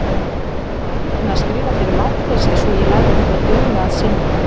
Ég á erfitt með að skrifa fyrir máttleysi svo ég læt þetta duga að sinni.